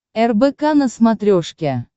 рбк на смотрешке